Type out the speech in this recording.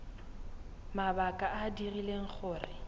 mabaka a a dirileng gore